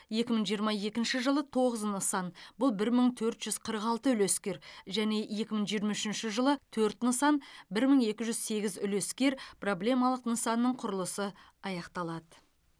екі мың жиырма екінші жылы тоғыз нысан бұл бір мың төрт жүз қырық алты үлескер және екі мың жиырма үшінші жылы төрт нысан бұл бір мың екі жүз сегіз үлескер проблемалық нысанның құрылысы аяқталады